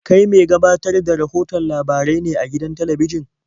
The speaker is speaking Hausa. Kai me gabatar da rahoton labarai ne a gidan talabijin?